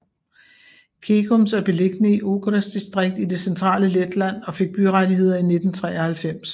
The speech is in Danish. Ķegums er beliggende i Ogres distrikt i det centrale Letland og fik byrettigheder i 1993